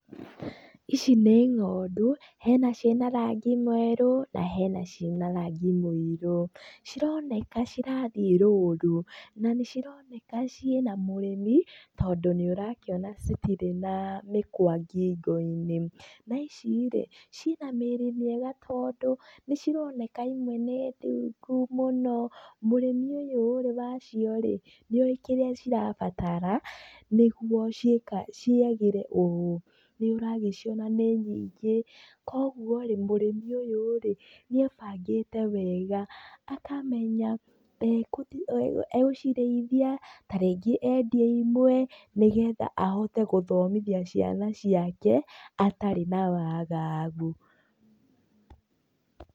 Ici nĩ ng'ondu, hena ciĩna rangi mwerũ na hena ciĩna rangi mũirũ. Cironeka cirathiĩ rũru, na nĩcironeka ciĩna mũrĩmi, tondũ nĩũrakĩona citirĩ na mĩkwa ngingo-inĩ. Na ici-rĩ, ciĩna mĩrĩ mĩega tondũ, nĩcironeka imwe nĩ ndungu mũno. Mũrĩmi ũyũ-rĩ wacio-rĩ nĩoĩ kĩrĩa cirabatara, nĩguo ciagĩre ũũ. Nĩũragĩciona nĩ nyingĩ, kuoguo-rĩ mũrĩmi ũyũ-rĩ nĩebangĩte wega akamenya egũcirĩithia, ta rĩngĩ endie imwe, nĩgetha ahote gũthomithia ciana ciake atarĩ na wagagu.